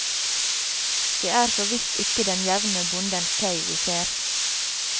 Det er så visst ikke den jevne bondens tøy vi ser.